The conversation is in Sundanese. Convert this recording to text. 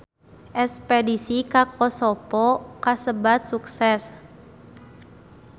Espedisi ka Kosovo kasebat sukses